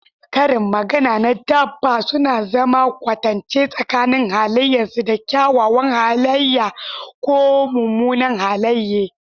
Karin magana na dabba suna zana kwatance tsakanin halayensu da kyawawan halaye ko munanan halaye.